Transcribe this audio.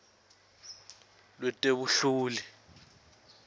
lwetebunhloli